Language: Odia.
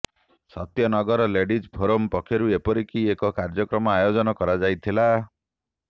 ସତ୍ୟନଗର ଲେଡିଜ୍ ଫୋରମ୍ ପକ୍ଷରୁ ଏପରି ଏକ କାର୍ଯ୍ୟକ୍ରମର ଆୟୋଜନ କରାଯାଇଥିଲା